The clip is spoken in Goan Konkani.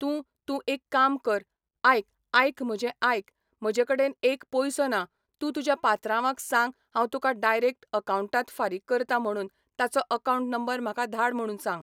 तूं तूं एक काम कर आयक आयक म्हजें आयक म्हजे कडेन एक पयसो ना तूं तुज्या पात्रांवाक सांग हांव तुका डायरेक्ट अकावटांत फारीक करता म्हणून ताचो अकावटं नंबर म्हाका धाड म्हूण सांग.